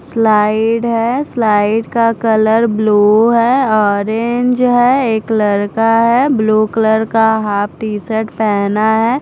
Slide है slide का colour blue है ऑरेंज है एक लड़का है ब्लू कलर का हाफ टी शर्ट पहना है।